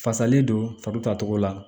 Fasalen don fatogo la